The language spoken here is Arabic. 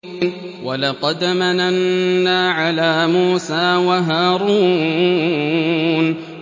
وَلَقَدْ مَنَنَّا عَلَىٰ مُوسَىٰ وَهَارُونَ